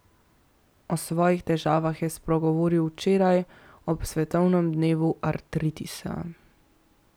O svojih težavah je spregovoril včeraj, ob svetovnem dnevu artritisa.